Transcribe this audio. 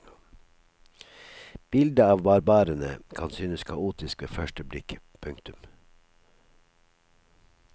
Bildet av barbarene kan synes kaotisk ved første blikk. punktum